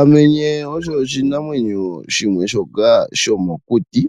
Omenye osho oshinamwenyo shimwe shoka shomokuti